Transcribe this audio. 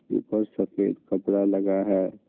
ऊपर सफेद कपड़ा लगा है।